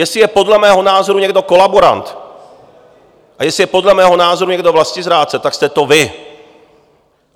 Jestli je podle mého názoru někdo kolaborant a jestli je podle mého názoru někdo vlastizrádce, tak jste to vy!